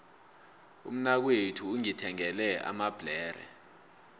umnakwethu ungithengele amabhlere